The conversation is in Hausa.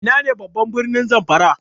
Ina ne ne babban birnin Zamfara?